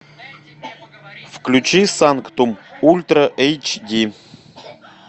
включи санктум ультра эйч ди